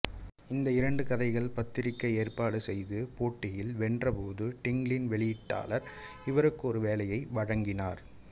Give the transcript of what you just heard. இந்த இரண்டு கதைகள் பத்திரிகை ஏற்பாடு செய்த போட்டியில் வென்றபோது டிங்கிளின் வெளியீட்டாளர் இவருக்கு ஒரு வேலையை வழங்கினார்